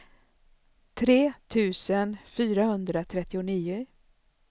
tre tusen fyrahundratrettionio